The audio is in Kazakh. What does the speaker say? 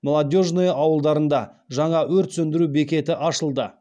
молодежное ауылдарында жаңа өрт сөндіру бекеті ашылды